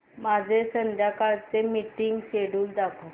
माझे संध्याकाळ चे मीटिंग श्येड्यूल दाखव